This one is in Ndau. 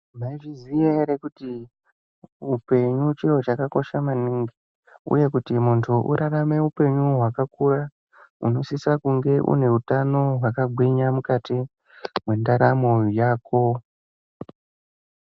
Maizviziya ere kuti upenyu chiro chakakosha maningi? Uye kuti muntu urarame upenyu hwakakura, unosisa kunge une utano hwakagwinya mukati mwendaramo yako.